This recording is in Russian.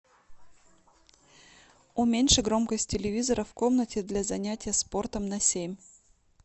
уменьши громкость телевизора в комнате для занятия спортом на семь